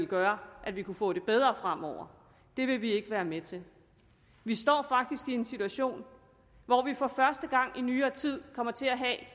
gøre at vi kunne få det bedre fremover det vil vi ikke være med til vi står faktisk i en situation hvor vi for første gang i nyere tid kommer til at